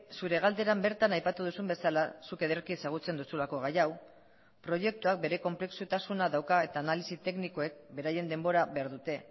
zure galderan bertan aipatu duzun bezala zuk ederki ezagutzen duzulako gai hau proiektuak bere konplexutasuna dauka eta analisi teknikoek beraien denbora behar dute